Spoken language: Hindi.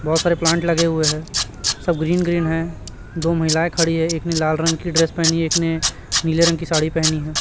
बहोत सारे प्लांट लगे हुए हैं सब ग्रीन ग्रीन हैं दो महिलाएं खड़ी हैं एक ने लाल रंग की ड्रेस पहनी एक ने नीले रंग की साड़ी पहनी है।